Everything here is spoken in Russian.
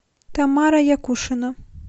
тамара якушина